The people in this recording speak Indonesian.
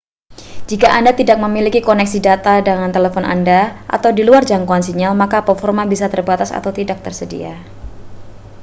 jika anda tidak memiliki koneksi data dengan telepon anda atau di luar jangkauan sinyal maka performa bisa terbatas atau tidak tersedia